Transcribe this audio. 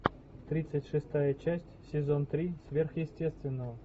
тридцать шестая часть сезон три сверхъестественного